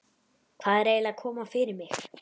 Hvað er eiginlega að koma fyrir mig?